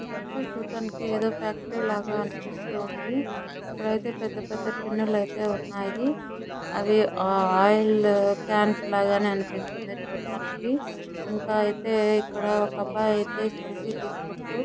ఈ పిక్చర్ చూడ్డానికి ఏదో ఫ్యాక్టరీ లాగా అనిపిస్తుంది. ఇక్కడైతే పెద్ద పెద్ద టిన్నులైతే ఉన్నాయి. అవి ఆ ఆయిల్ కాన్స్ లాగానే అనిపిస్తున్నాయి చూడటానికి. ఇంకా అయితే ఇక్కడ ఒక అబ్బాయి అయతే సెల్ఫీ తీసుకుంటు --